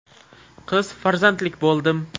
Qiz farzandlik bo‘ldim.